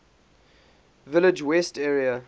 village west area